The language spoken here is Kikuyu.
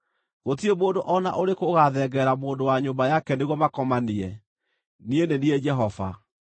“ ‘Gũtirĩ mũndũ o na ũrĩkũ ũgaathengerera mũndũ wa nyũmba yake nĩguo makomanie; niĩ nĩ niĩ Jehova.